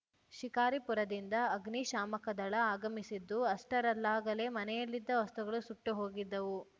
ಶಿಕಾರಿಪುರದಿಂದ ಅಗ್ನಿ ಶಾಮಕದಳ ಆಗಮಿಸಿದ್ದು ಅಷ್ಟರಲ್ಲಾಗಲೇ ಮನೆಯಲ್ಲಿದ್ದ ವಸ್ತುಗಳು ಸುಟ್ಟುಹೋಗಿದ್ದವು